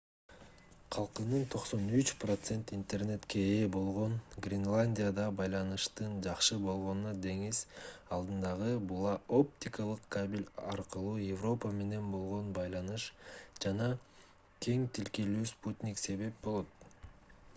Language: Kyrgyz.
калкынын 93% интернетке ээ болгон гренландияда байланыштын жакшы болгонуна деңиз алдындагы була-оптикалык кабель аркылуу европа менен болгон байланыш жана кең тилкелүү спутник себеп болот